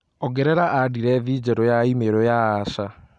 ongerera andirethi njerũ ya i-mīrū ya asha